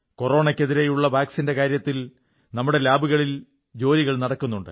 കൊറോണയ്ക്കെതിരെയുള്ള വാക്സിന്റെ കാര്യത്തിൽ നമ്മുടെ ലാബുകളിൽ ജോലികൾ നടക്കുന്നുണ്ട്